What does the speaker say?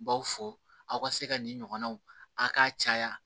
Baw fɔ aw ka se ka nin ɲɔgɔnnaw a k'a caya